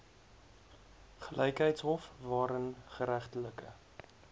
gelykheidshof waarin geregtelike